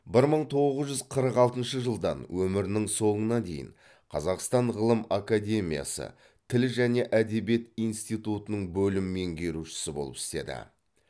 бір мың тоғыз жүз қырық алтыншы жылдан өмірінің соңына дейін қазақстан ғылым академиясы тіл және әдебиет институтының бөлім меңгерушісі болып істеді